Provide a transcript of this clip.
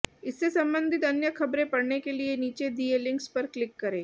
इससे संबंधित अन्य खबरें पढ़ने के लिए नीचे दिए लिंक्स पर क्लिक करें